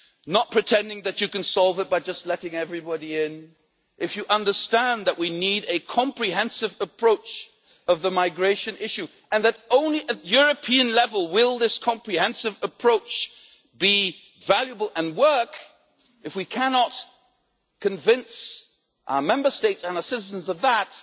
not pretending that you can solve it by just letting everybody in if you understand that we need a comprehensive approach on the migration issue and that only at European level will this comprehensive approach be valuable and work if we cannot convince our Member States and our citizens of that,